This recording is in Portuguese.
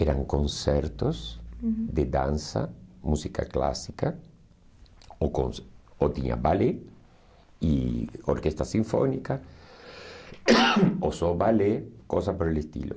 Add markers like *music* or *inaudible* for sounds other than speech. Eram concertos, uhum, de dança, música clássica, ou con ou tinha ballet e orquestra sinfônica, *coughs* ou só ballet, coisas pelo estilo.